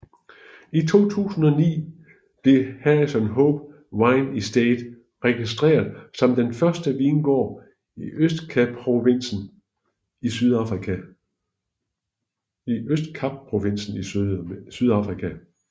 I 2009 blev Harrison Hope Wine Estate registreret som den første vingård i Østkapprovinsen i Sydafrika